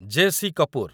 JC. Kapoor